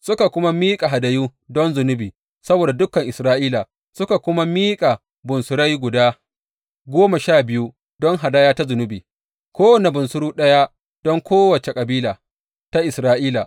Suka kuma miƙa hadayu don zunubi saboda dukan Isra’ila, suka kuma miƙa bunsurai guda goma sha biyu don hadaya ta zunubi, kowane bunsuru ɗaya don kowace kabila ta Isra’ila.